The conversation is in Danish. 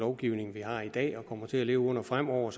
lovgivning vi har i dag og kommer til at leve under fremover